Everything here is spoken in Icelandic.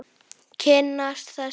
Kynnast þessu.